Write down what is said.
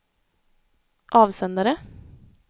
avsändare